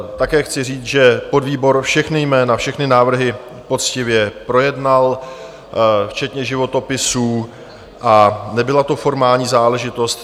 Také chci říct, že podvýbor všechna jména, všechny návrhy poctivě projednal včetně životopisů a nebyla to formální záležitost.